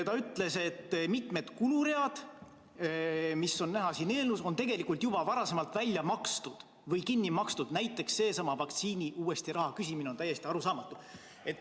Ta ütles, et mitu kulurida, mis on näha siin eelnõus, on tegelikult juba varasemalt välja makstud või kinni makstud, näiteks seesama vaktsiiniraha uuesti küsimine on täiesti arusaamatu.